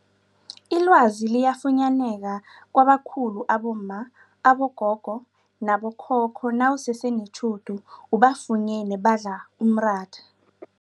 Ilwazi liyafunyaneka kwabakhulu abomma, abogogo nabo khokho nawusese netjhudu ubafunyene badla umratha.